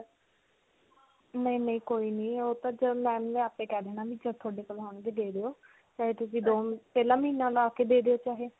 ਨਹੀਂ, ਨਹੀਂ. ਕੋਈ ਨਹੀਂ ਓਹ ਤਾਂ ਆਪੇ ਕਹੀ ਦੇਣਾ ਵੀ ਜਦੋਂ ਤੁਹਾਡੇ ਕੋਲ ਹੋਣ ਦੇ ਦਿਓ. ਚਾਹੇ ਤੁਸੀਂ ਦੋ ਪਹਿਲਾ ਮਹੀਨਾ ਲਾ ਕੇ ਦੇ ਦਿਓ ਚਾਹੇ.